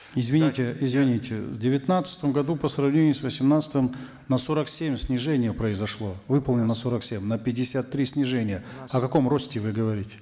извините извините в девятнадцатом году по сравнению с восемнадцатым на сорок семь снижение произошло выполнено сорок семь на пятьдесят три снижение о каком росте вы говорите